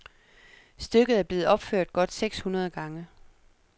Stykket er blevet opført godt seks hundrede gange.